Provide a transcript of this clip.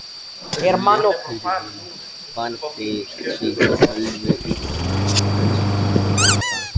Túlkurinn barði sig töluvert utan og hvessti sjónir á Bretann.